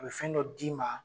A be fɛn dɔ d'i ma